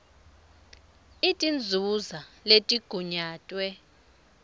ii tinzuzo letigunyatwe